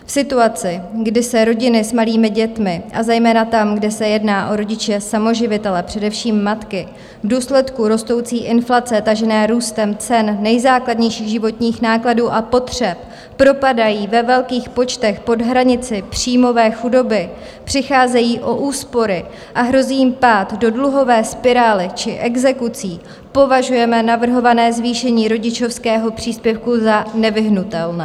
V situaci, kdy se rodiny s malými dětmi, a zejména tam, kde se jedná o rodiče samoživitele, především matky, v důsledku rostoucí inflace tažené růstem cen nejzákladnějších životních nákladů a potřeb propadají ve velkých počtech pod hranici příjmové chudoby, přicházejí o úspory a hrozí jim pád do dluhové spirály či exekucí, považujeme navrhované zvýšení rodičovského příspěvku za nevyhnutelné.